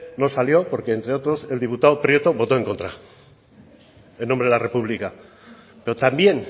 no salió porque entre otros el diputado prieto votó en contra en nombre de la republica pero también